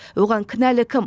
оған кінәлі кім